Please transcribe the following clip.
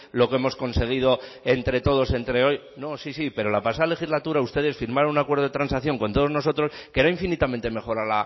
lo que hemos conseguido entre todos entre hoy no sí sí pero la pasada legislatura ustedes firmaron un acuerdo de transacción con todos nosotros que era infinitamente mejor